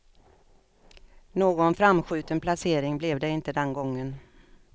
Någon framskjuten placering blev det inte den gången.